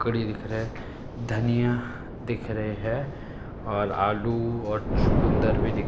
कड़ी दिख रहे धनिया दिख रहे हैं और आलू और चुकंदर भी दिख --